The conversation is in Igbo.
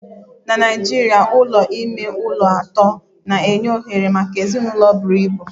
Na Naijiria Ụlọ ime ụlọ atọ na-enye ohere maka ezinụlọ buru ibu